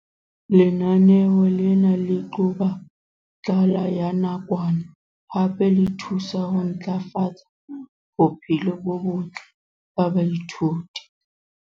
Lenaneo lena le qoba tlala ya nakwana hape le thusa ho ntlafatsa bophelo bo botle ba baithuti.